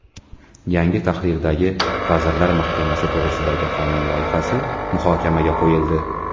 Yangi tahrirdagi Vazirlar Mahkamasi to‘g‘risidagi qonun loyihasi muhokamaga qo‘yildi.